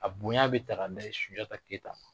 A bonya bɛ ta ka da yen Sunjata Keyita kan.